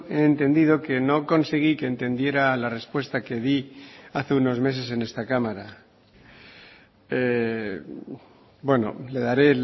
he entendido que no conseguí que entendiera la respuesta que di hace unos meses en esta cámara bueno le daré